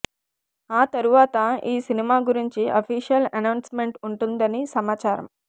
ఆతర్వాత ఈ సినిమా గురించి అఫిషియల్ ఎనౌన్స్ మెంట్ ఉంటుందని సమాచారం